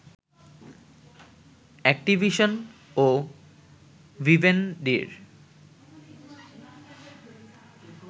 Activision ও ভিভেনডির